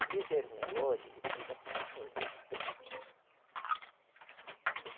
O bezerro Nelore, ele pisa com os dois pés.